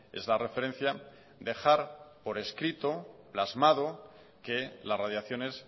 es la referencia dejar por escrito plasmado que las radiaciones